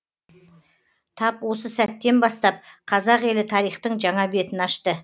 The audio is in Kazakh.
тап осы сәттен бастап қазақ елі тарихтың жаңа бетін аш